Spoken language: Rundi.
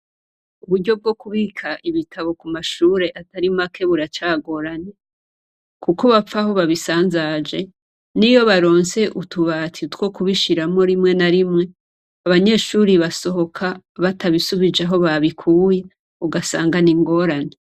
Uburyo bwo kubika ibitabo ku mashure atari make buracagoranye kuko bapfa aho babisanzaje, niyo baronse utubati two kubishiramwo rimwe na rimwe, abanyeshure basohoka batabisubije aho babikuye, ugasanga n'ingorane.